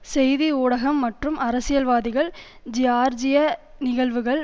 செய்தி ஊடகம் மற்றும் அரசியல்வாதிகள் ஜியார்ஜிய நிகழ்வுகள்